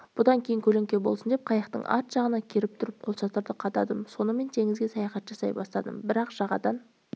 бұдан кейін көлеңке болсын деп қайықтың арт жағына керіп тұрып қолшатыр қададым сонымен теңізге саяхат жасай бастадым бірақ жағадан